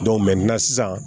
sisan